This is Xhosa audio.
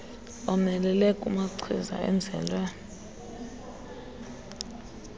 omelele kunamachiza enzelwe